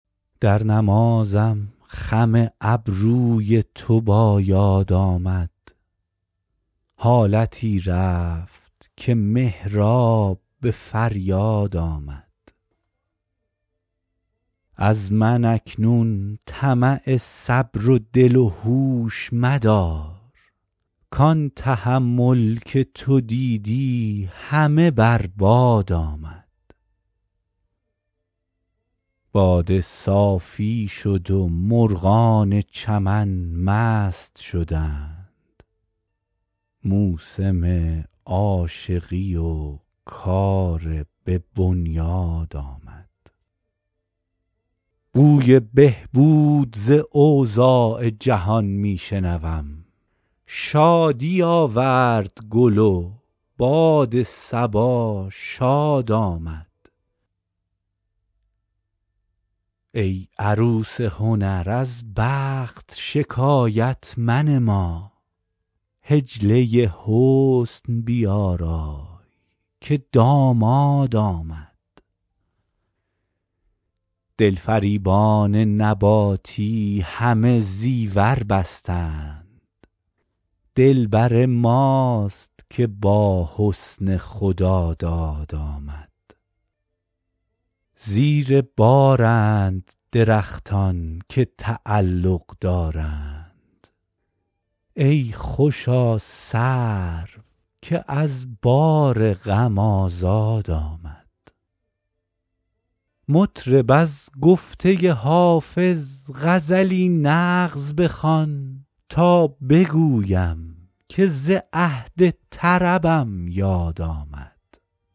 در نمازم خم ابروی تو با یاد آمد حالتی رفت که محراب به فریاد آمد از من اکنون طمع صبر و دل و هوش مدار کان تحمل که تو دیدی همه بر باد آمد باده صافی شد و مرغان چمن مست شدند موسم عاشقی و کار به بنیاد آمد بوی بهبود ز اوضاع جهان می شنوم شادی آورد گل و باد صبا شاد آمد ای عروس هنر از بخت شکایت منما حجله حسن بیارای که داماد آمد دلفریبان نباتی همه زیور بستند دلبر ماست که با حسن خداداد آمد زیر بارند درختان که تعلق دارند ای خوشا سرو که از بار غم آزاد آمد مطرب از گفته حافظ غزلی نغز بخوان تا بگویم که ز عهد طربم یاد آمد